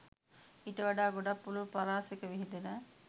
ඊට වඩා ගොඩක් පුළුල් පරාසෙක විහිදෙන